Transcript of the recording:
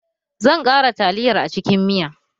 Zan ƙara taliyar a cikin miya